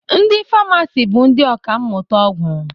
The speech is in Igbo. Ndị famasi bụ ndị ọkammụta ọgwụ